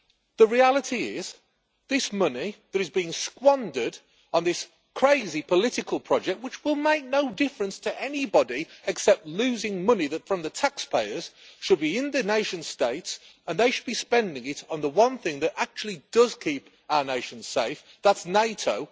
The reality is this money that is being squandered on this crazy political project, which will make no difference to anybody except losing money from the taxpayers, should be within the nation states, and they should be spending it on the one thing that actually does keep our nation safe that is NATO.